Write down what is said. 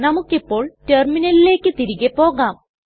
നമുക്കിപ്പോൾ റ്റെർമിനലിലെക് തിരികെ പോകാം